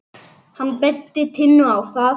Hann benti Tinnu á það.